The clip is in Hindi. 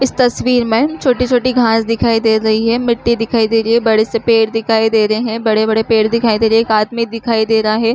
इस तस्वीर में छोटी-छोटी घास दिखाई दे रही है मिट्टी दिखाई दे रही है बड़े से पेड़ दिखाई दे रहे है बड़े बड़े पेड़ दिखाई दे रहे है एक आदमी दिखाई दे रहा है ।